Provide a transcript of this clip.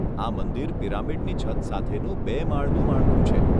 આ મંદિર પિરામિડની છત સાથેનું બે માળનું માળખું છે.